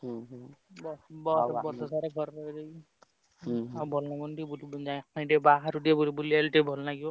ହଁ ହଁ ବର୍ଷ ସାରା ତ ଘରେ ରହି ରହି ଆଉ ଭଲ ଲାଗୁନି ବୁଲି ଆସେ ଟିକେ ବାହାରକୁ ଟିକେ ବୁଲି ଆସିଲେ ଭଲ ଲାଗିବ।